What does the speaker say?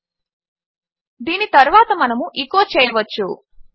దీని తరువాత మనము ఎచో చేయవచ్చు